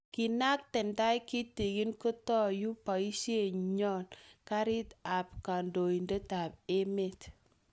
Kenakte tai kitikin, kotoyue basinyo karit ab kandoindet ab emet